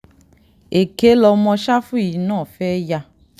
èké lọmọ ṣáfù yìí náà fẹ́ẹ́ yá